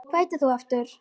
Hvað heitir þú aftur?